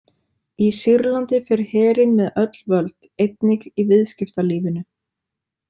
Í Sýrlandi fer herinn með öll völd, einnig í viðskiptalífinu.